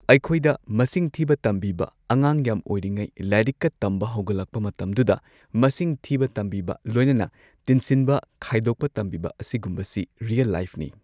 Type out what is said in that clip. ꯑꯩꯈꯣꯏꯗ ꯃꯁꯤꯡ ꯊꯤꯕ ꯇꯝꯕꯤꯕ ꯑꯉꯥꯡ ꯌꯥꯝ ꯑꯣꯏꯔꯤꯉꯩ ꯂꯥꯏꯔꯤꯛꯀ ꯇꯝꯕ ꯍꯧꯒꯠꯂꯛꯄ ꯃꯇꯝꯗꯨꯗ ꯃꯁꯤꯡ ꯊꯤꯕ ꯇꯝꯕꯤꯕ ꯂꯣꯏꯅꯅ ꯇꯤꯟꯁꯤꯟꯕ ꯈꯥꯏꯗꯣꯛꯄ ꯇꯝꯕꯤꯕ ꯑꯁꯤꯒꯨꯝꯕꯁꯤ ꯔꯤꯌꯦꯜ ꯂꯥꯏꯐ ꯅꯤ꯫